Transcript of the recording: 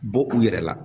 Bɔ u yɛrɛ la